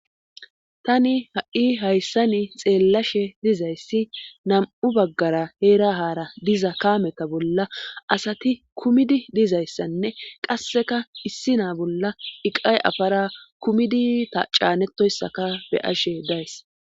tani ha7i hayssani xeellashe dizayssi nam7u baggara heera haara diza kaameta bolla asati kumidi dizayssanne qasseka issi naa bolla iqay afara kumidi ta caanetoyssaka beyashe days